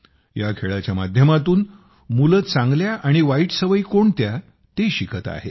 या खेळाच्या माध्यमातून मुले चांगल्या आणि वाईट सवयी कोणत्या ते शिकत आहेत